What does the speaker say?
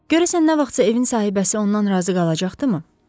Görəsən, nə vaxtsa evin sahibəsi ondan razı qalacaqdı mı?